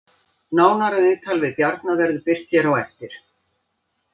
Nánara viðtal við Bjarna verður birt hér á eftir